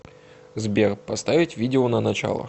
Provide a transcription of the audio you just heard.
сбер поставить видео на начало